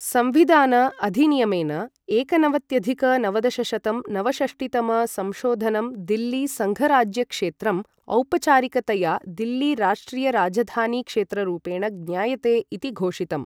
संविधान अधिनियमेन, एकनवत्यधिक नवदशशतं नवषष्टितम संशोधनम् दिल्ली सङ्घराज्यक्षेत्रम् औपचारिकतया दिल्ली राष्ट्रिय राजधानी क्षेत्ररूपेण ज्ञायते इति घोषितम्।